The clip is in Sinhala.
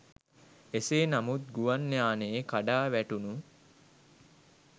එසේ නමුත් ගුවන් යානයේ කඩා වැටුණු